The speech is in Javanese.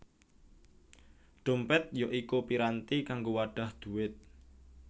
Dhompèt ya iku piranti kanggo wadhah dhuwit